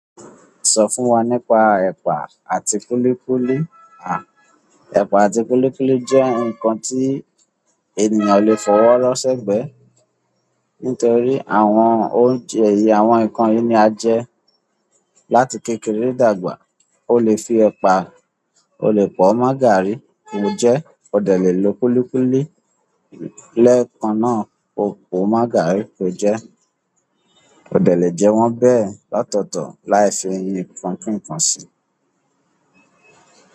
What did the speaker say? Sọ fún wa nípa ẹ̀pà àti kúlíkúlí. À, ẹ̀pà àti kúlíkúlí jẹ́ ǹkan tí ènìyàn lè fọwọ́ rọ́ sẹ́gbẹ̀ẹ́ nítorí àwọn oúnjẹ èyí, àwọn ǹkan yìí ni a jẹ láti kékeré dàgbà. O lè fi ẹ̀pà, o lè po mo garí o le jẹ́, o dẹ̀ le lo kúlíkúlí lẹ́ẹ̀kan náà pòò mágarí pé jẹ́. O dẹ̀ lè jẹ wọ́n bẹ́ẹ̀ lọtọ̀tọ̀ láì fi nkàn-kín kàn sí i.